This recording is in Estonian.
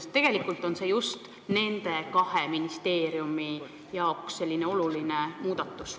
Sest tegelikult on see just nende kahe ministeeriumi jaoks oluline muudatus.